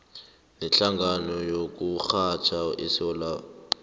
nehlangano yokurhatjha esewula